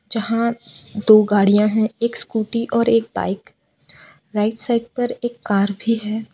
जहां दो गाड़ियां है एक स्कूटी और एक बाइक राइट साइड पर एक का भी है जहां --